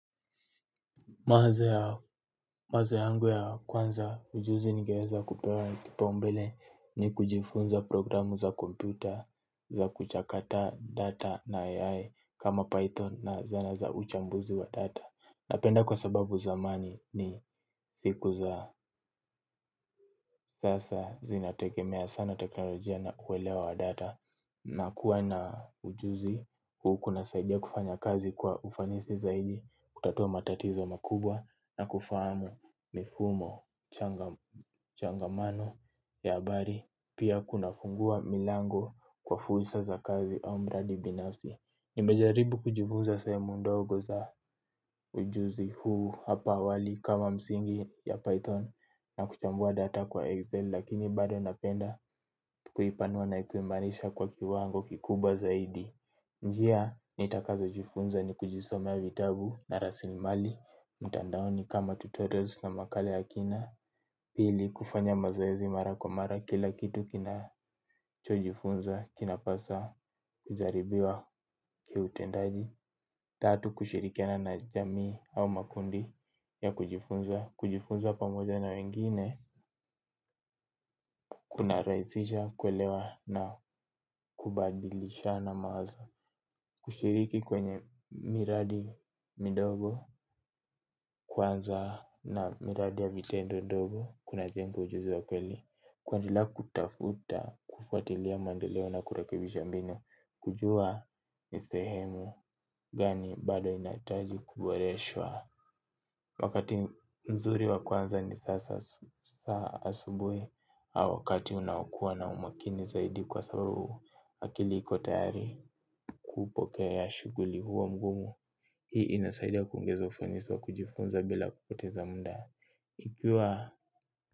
Wazo yangu ya kwanza ujuzi ningeweza kupewa kipaumbele ni kujifunza programu za kompyuta za kuchakata data na AI kama Python na zana za uchambuzi wa data. Napenda kwa sababu zamani ni siku za sasa zinategemea sana teknojia na kuelewa data. Na kuwa na ujuzi huu kuna saidia kufanya kazi kwa ufanisi zaidi. Kutatua matatiza makubwa, na kufahamu mifumo changamano ya habari. Pia kuna fungua milango kwa fursa za kazi au mradi binafsi. Nimejaribu kujifunza sehemu ndogo za ujuzi huu hapa awali kama msingi ya Python na kuchambua data kwa Excel lakini bado napenda tu kuipanua na kuimarisha kwa kiwango kikubwa zaidi. Njia nitakazo jifunza ni kujisomea vitabu na rasilimali, mtandaoni kama tutorials na makala ya kina. Pili, kufanya mazoezi mara kwa mara kila kitu kinachojifunza kina pasa kujaribiwa kiutendaji. Tatu, kushirikiana na jamii au makundi ya kujifunza. Kujifunza pamoja na wengine kuna rahisisha, kuelewa na kubadilishana maazo. Kushiriki kwenye miradi midogo kwanza na miradi ya vitendo ndogo, kunajenga ujuzi wa kweli, kwanila kutafuta, kufuatilia mandeleo na kurekebisha mbinu. Kujua ni sehemu gani bado inahitaji kuboreshwa. Wakati mzuri wa kuanza ni sasa asubuhi. Wakati unaokua na umakini zaidi kwa sababu akili iko tayari kupokea shuguli huo ngumu. Hii inasaidi ya kuongezo ufanisi wa kujifunza bila kupoteza muda ikiwa.